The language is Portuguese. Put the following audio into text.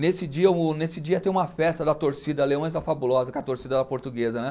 Nesse dia o, nesse dia ia ter uma festa da torcida Leões da Fabulosa, que é a torcida da portuguesa, né?